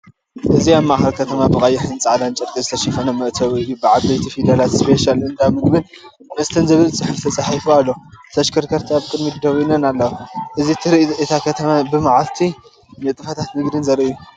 እዚ ኣብ ማእከል ከተማ ብቐይሕን ጻዕዳን ጨርቂ ዝተሸፈነ መእተዊ ኮይኑ፡ ብዓበይቲ ፊደላት 'ስፔሻል እንዳ ምግብን መስተን' ዝብል ጽሑፍ ተጻሒፉ ኣሎ። ተሽከርከርቲ ኣብ ቅድሚት ደው ኢለን ኣለዋ። እዚ ትርኢት እታ ከተማ ብመዓልቲን ንጥፈታት ንግድን ዘርኢ እዩ።